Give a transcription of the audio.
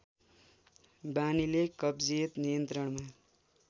बानीले कब्जियत नियन्त्रणमा